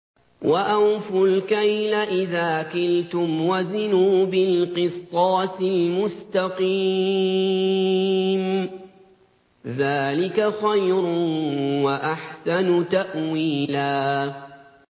وَأَوْفُوا الْكَيْلَ إِذَا كِلْتُمْ وَزِنُوا بِالْقِسْطَاسِ الْمُسْتَقِيمِ ۚ ذَٰلِكَ خَيْرٌ وَأَحْسَنُ تَأْوِيلًا